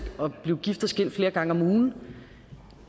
at blive gift og skilt flere gange om ugen